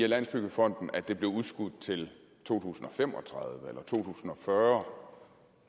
landsbyggefonden at det blev udskudt til to tusind og fem og tredive to tusind og fyrre